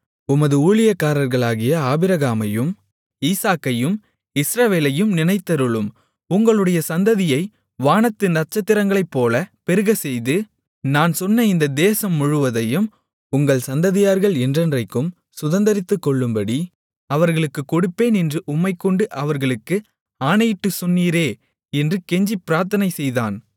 உமது ஊழியக்காரர்களாகிய ஆபிரகாமையும் ஈசாக்கையும் இஸ்ரவேலையும் நினைத்தருளும் உங்களுடைய சந்ததியை வானத்து நட்சத்திரங்களைப்போலப் பெருகச்செய்து நான் சொன்ன இந்த தேசம் முழுவதையும் உங்கள் சந்ததியார்கள் என்றைக்கும் சுதந்தரித்துக்கொள்ளும்படி அவர்களுக்குக் கொடுப்பேன் என்று உம்மைக்கொண்டு அவர்களுக்கு ஆணையிட்டுச் சொன்னீரே என்று கெஞ்சிப் பிரார்த்தனை செய்தான்